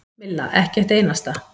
Milla: Ekki eitt einasta.